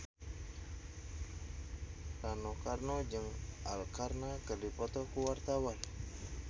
Rano Karno jeung Arkarna keur dipoto ku wartawan